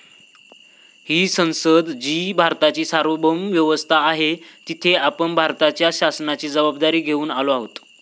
ही संसद जी भारताची सार्वभौम व्यवस्था आहे, तिथे आपण भारताच्या शासनाची जबाबदारी घेऊन आलो आहोत.